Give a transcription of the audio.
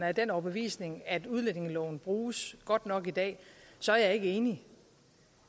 af den overbevisning at udlændingeloven bruges godt nok i dag så er jeg ikke enig